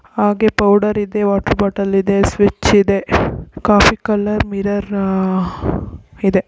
ಹಾಗೆ ಪೌಡರ್ ಇದೆ water bottle ಇದೆ ಸ್ವಿಚ್ ಇದೆ ಕಾಫಿ ಕಲರ್ ಮಿರರ್ ಆಹ್ ಇದೆ.